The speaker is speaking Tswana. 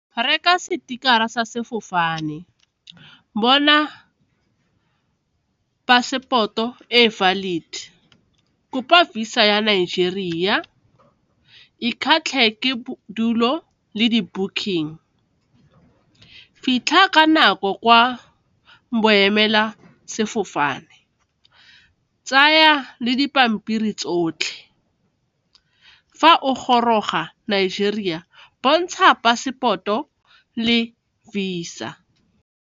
Reka sticker-ra sa sefofane, bona passport-o e valid, kopa Visa ya Nigeria, ikgatlhe ke bodulo le di-booking, fitlha ka nako kwa boemela sefofane, tsaya le dipampiri tsotlhe, fa o goroga Nigeria bontsha pasepoto le Visa.